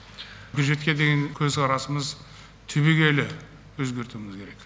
бюджетке деген көзқарасымыз түбегейлі өзгертуіміз керек